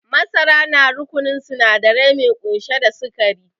Masara na rukununin sinadari mai kunshe da sikari